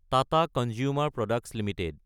Tata Consumer Products Ltd